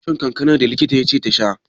Tana shan kankanar da likita ya ce ta sha?